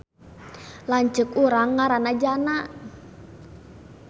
Lanceuk urang ngaranna Jana